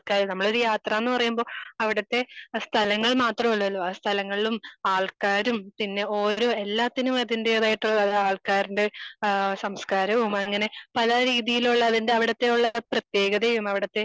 നമ്മൾ ഒരു യാത്ര എന്ന് പറയുമ്പോ അവിടുത്തെ സ്ഥലങ്ങൾ മാത്രമല്ലല്ലോ ആഹ് സ്ഥലങ്ങളിലും ആൾക്കാരും പിന്നെ ഓരോ എല്ലാത്തിനും അതിന്റേതായിട്ടുള്ള ആൾക്കാരുടെ ഏഹ് സംസ്ക്കാരവും അങ്ങനെ പല രീതിയിലുള്ള അതിൻ്റെ അവിടുത്തെ ഉള്ള ഒരു പ്രതേകതയും അവിടുത്തെ.